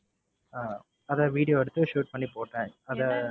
அஹ் அதை video எடுத்து shoot பண்ணி போட்டேன் அதை,